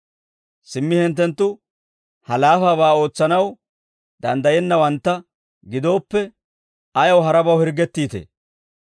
«Simmi hinttenttu ha laafabaa ootsanaw danddayennawantta gidooppe ayaw harabaw hirggettiitee?